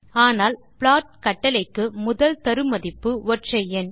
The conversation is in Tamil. ஆனால் ப்ளாட் கட்டளைக்கு முதல் தரு மதிப்பு ஒற்றை எண்